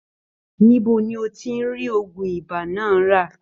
Níbo ní n o tí rí ògùn ìbá náà ra?